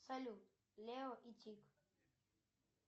салют лео и тик